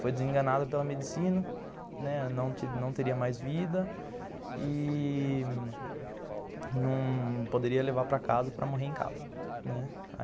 Foi desenganada pela medicina, né, não teria mais vida e não poderia levar para casa para morrer em casa, né.